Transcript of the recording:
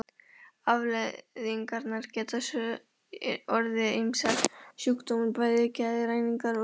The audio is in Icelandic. Afleiðingarnar geta svo orðið ýmsir sjúkdómar, bæði geðrænir og líkamlegir.